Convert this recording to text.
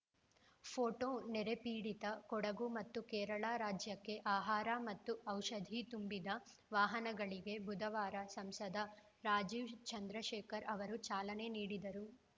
photo ನೆರೆಪೀಡಿತ ಕೊಡಗು ಮತ್ತು ಕೇರಳ ರಾಜ್ಯಕ್ಕೆ ಆಹಾರ ಮತ್ತು ಔಷಧಿ ತುಂಬಿದ ವಾಹನಗಳಿಗೆ ಬುಧವಾರ ಸಂಸದ ರಾಜೀವ್‌ ಚಂದ್ರಶೇಖರ್‌ ಅವರು ಚಾಲನೆ ನೀಡಿದರು